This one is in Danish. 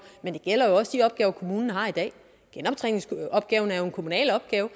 men det gælder jo også de opgaver kommunen har i dag genoptræningsopgaven er jo en kommunal opgave